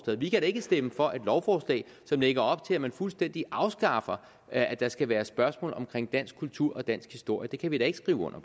vi kan da ikke stemme for et lovforslag som lægger op til at man fuldstændig afskaffer at der skal være spørgsmål om dansk kultur og dansk historie det kan vi da ikke skrive under